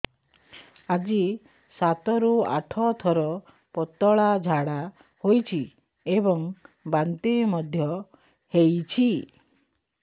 ଆଜି ସାତରୁ ଆଠ ଥର ପତଳା ଝାଡ଼ା ହୋଇଛି ଏବଂ ବାନ୍ତି ମଧ୍ୟ ହେଇଛି